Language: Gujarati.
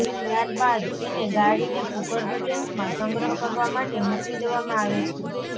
ત્યારબાદ એને ગાળીને ભૂગર્ભ ટેંકમાં સંગ્રહ કરવા માટે મોકલી દેવામાં આવે છે